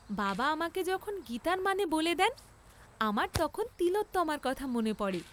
বাবা আমাকে যখন গীতার মানে বলে দেন, আমার তখন তিলোত্তমার কথা মনে পড়ে।